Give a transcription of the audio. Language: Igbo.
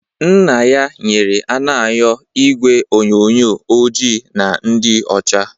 Nna ya nyere Anayo igwe onyonyo ojii na ndị ọcha